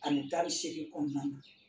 Ano tani seegin kɔnɔna na.